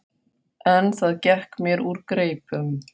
En það gekk mér úr greipum.